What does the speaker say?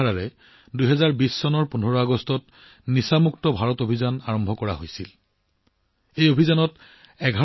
এই চিন্তাৰে ১৫ আগষ্ট ২০২০ত নিছা মুক্তি ভাৰত অভিযানৰ শুভাৰম্ভ কৰা হয়